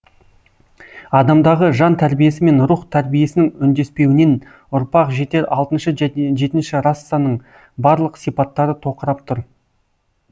адамдағы жан тәрбиесі мен рух тәрбиесінің үндеспеуінен ұрпақ жетер алтыншы және жетінші рассаның барлық сипаттары тоқырап тұр